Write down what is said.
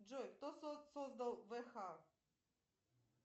джой кто создал вх